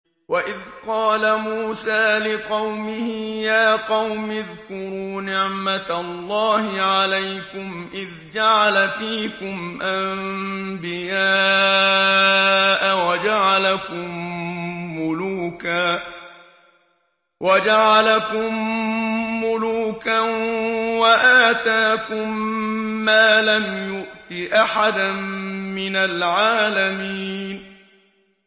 وَإِذْ قَالَ مُوسَىٰ لِقَوْمِهِ يَا قَوْمِ اذْكُرُوا نِعْمَةَ اللَّهِ عَلَيْكُمْ إِذْ جَعَلَ فِيكُمْ أَنبِيَاءَ وَجَعَلَكُم مُّلُوكًا وَآتَاكُم مَّا لَمْ يُؤْتِ أَحَدًا مِّنَ الْعَالَمِينَ